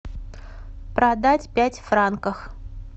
продать пять франков